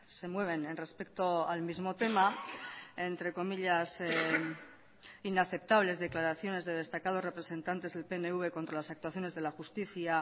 se mueven en respecto al mismo tema entre comillas inaceptables declaraciones de destacados representantes del pnv contra las actuaciones de la justicia